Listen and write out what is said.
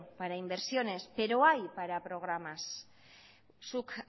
para inversiones pero hay para programa zuk